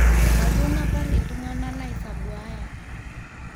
Mayieu anapar ltungana laisombuaya